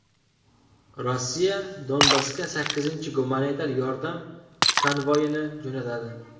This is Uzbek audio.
Rossiya Donbassga sakkizinchi gumanitar yordam konvoyini jo‘natadi.